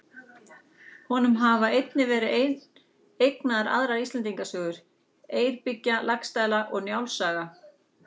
Honum hafa einnig verið eignaðar aðrar Íslendingasögur: Eyrbyggja, Laxdæla og Njáls saga.